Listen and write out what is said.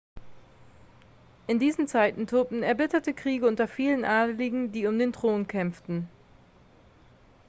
in diesen zeiten tobten erbitterte kriege unter vielen adligen die um den thron kämpften